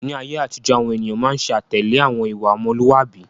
Ni ayé àtijọ́, àwọn ènìyàn máa ń ṣe àtẹ̀lé àwọn ìwà ọmọlúàbí.